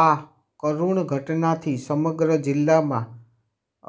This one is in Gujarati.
આ કરૃણ ઘટનાથી સમગ્ર જિલ્લામાં